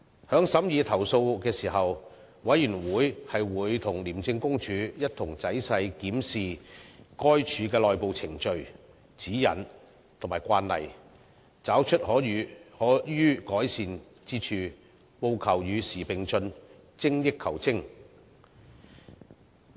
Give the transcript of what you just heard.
在審議投訴時，委員會會與廉政公署一同仔細檢視該署的內部程序、指引和慣例，找出可予改善之處，務求與時並進，精益求精。